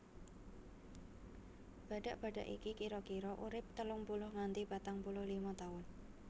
Badhak badhak iki kira kira urip telung puluh nganti patang puluh lima taun